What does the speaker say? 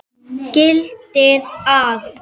gildir að